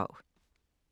DR1